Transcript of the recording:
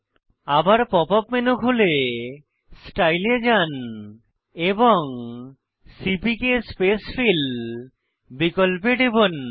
আবার pop up menu খুলে style এ যান এবং সিপিকে স্পেসফিল বিকল্পে টিপুন